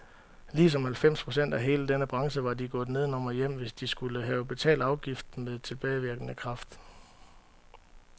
Ligesom halvfems procent af hele denne branche var de gået nedenom og hjem, hvis de skulle have betalt afgiften med tilbagevirkende kraft.